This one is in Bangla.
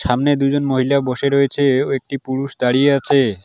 সামনে দুজন মহিলা বসে রয়েছে ও একটি পুরুষ দাঁড়িয়ে আছে।